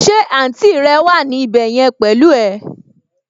Ṣé àǹtì rẹ wà ní ibẹ̀ yẹn pẹ̀lú ẹ?